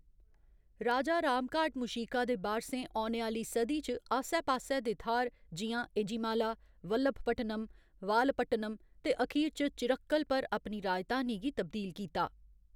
राजा रामघाट मूशिका दे बारसें औने आह्‌ली सदी च आस्सै पास्सै दे थाह्‌‌‌र जि'यां एझिमाला, वल्लभपट्टनम वालपट्टनम ते अखीर च चिरक्कल, पर अपनी राजधानी गी तब्दील कीता।